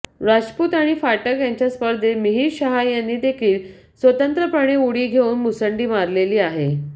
राजपूत आणि फाटक यांच्या स्पर्धेत मिहीर शहा यांनी देखील स्वतंत्रपणे उडी घेऊन मुसंडी मारलेली आहे